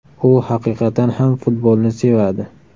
U haqiqatan ham futbolni sevadi.